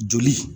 Joli